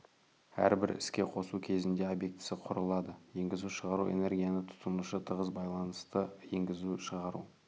әрбір іске қосу кезінде обьектісі құрылады енгізу-шығару энергияны тұтынушы тығыз байланысты енгізу-шығару